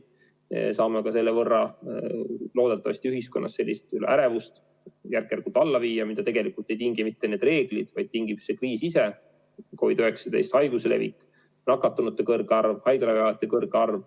Loodetavasti saame selle võrra ühiskonnas järk-järgult alla viia ärevust, mida tegelikult ei tingi mitte need reeglid, vaid tingib see kriis ise – COVID-19 haiguse levik, nakatunute kõrge arv, haiglaravi vajajate kõrge arv.